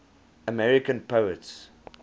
american poets